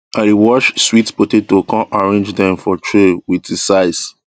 i dey wash sweet potato cone arrange dem for tray with e size